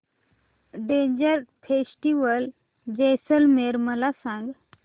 desert festival Jaisalmer मला सांग